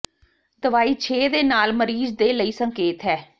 ਦਵਾਈ ਛੇ ਦੇ ਨਾਲ ਮਰੀਜ਼ ਦੇ ਲਈ ਸੰਕੇਤ ਹੈ